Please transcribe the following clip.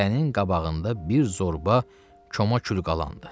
Hərənin qabağında bir zorba koma kül qalandı.